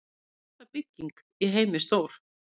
Hvað er stærsta bygging í heimi stór?